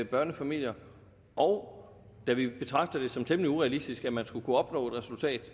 børnefamilier og da vi betragter det som temmelig urealistisk at man skulle kunne opnå et resultat